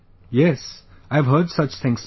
Yes...I have heard such things Sir